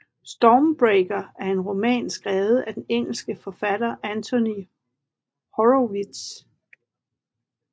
Stormbreaker er en roman skrevet af den engelske forfatter Anthony Horowitz